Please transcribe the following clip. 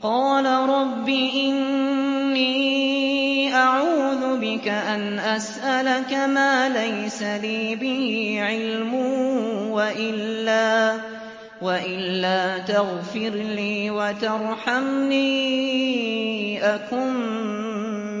قَالَ رَبِّ إِنِّي أَعُوذُ بِكَ أَنْ أَسْأَلَكَ مَا لَيْسَ لِي بِهِ عِلْمٌ ۖ وَإِلَّا تَغْفِرْ لِي وَتَرْحَمْنِي أَكُن